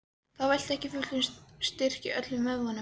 Þá veitti ekki af fullum styrk í öllum vöðvum.